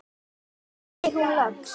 segir hún loks.